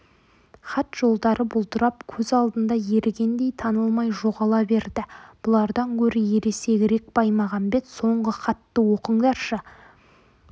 хат жолдары бұлдырап көз алдында ерігендей танылмай жоғала берді бұлардан гөрі ересегірек баймағамбет соңғы хатты оқыңдаршы